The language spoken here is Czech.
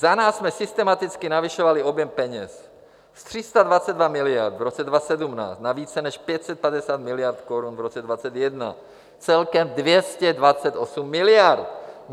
Za nás jsme systematicky navyšovali objem peněz, z 322 miliard v roce 2017 na více než 550 miliard korun v roce 2021, celkem 228 miliard.